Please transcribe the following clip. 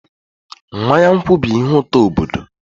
Mmanya nkwụ bụ ihe ụtọ obodo.